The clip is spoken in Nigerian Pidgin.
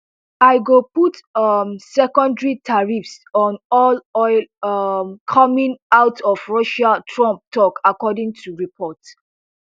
i go put um secondary tariffs on all oil um coming out of russia trump tok according to reports